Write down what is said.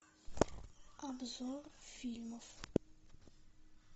обзор фильмов